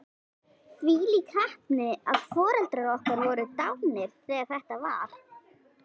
Þvílík heppni að foreldrar okkar voru dánir þegar þetta var.